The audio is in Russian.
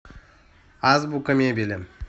азбука мебели